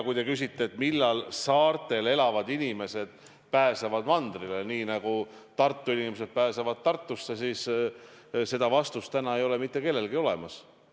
Kui te küsite, millal saartel elavad inimesed pääsevad mandrile, nii nagu Tartu inimesed pääsevad Tartusse, siis seda vastust täna ei ole mitte kellelgi olemas.